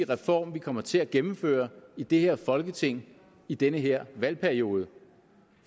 reform vi kommer til at gennemføre i det her folketing i den her valgperiode